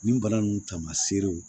Nin bara ninnu taamaserew